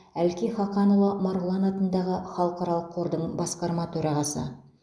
әлкей хақанұлы марғұлан атындағы халықаралық қордың басқарма төрағасы